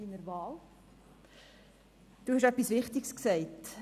Sie haben etwas Wichtiges gesagt: